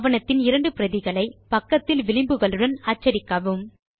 ஆவணத்தின் இரண்டு பிரதிகளை பக்கத்தில் விளிம்புகளுடன் அச்சடிக்கவும்